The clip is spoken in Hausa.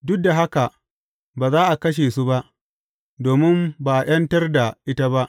Duk da haka ba za a kashe su ba, domin ba a ’yantar da ita ba.